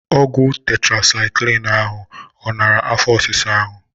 Ọgwụ tetrasaịklin ahụ ọ nara afọ ọsisa ahụ?